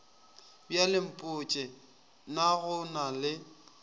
bjalempotše na go na le